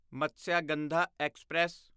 Matsyagandha express